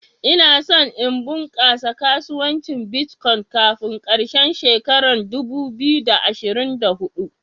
Ina son in kunkasa kasuwancin " Bitcoin" kafin karshen shekaran dubu biyu da ashirin da hudu.